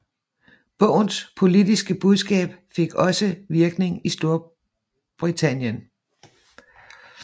Bogens politiske budskab fik også virkning i Storbritannien